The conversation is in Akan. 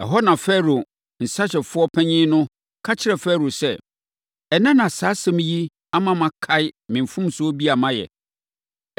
Ɛhɔ na Farao nsãhyɛfoɔ panin no ka kyerɛɛ Farao sɛ, “Ɛnnɛ na saa asɛm yi ama makae me mfomsoɔ bi a mayɛ.